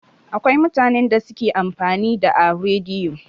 Akwai mutanen da suke amfani da a rediyo.